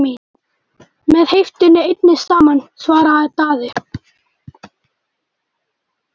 Með heiftinni einni saman, svaraði Daði.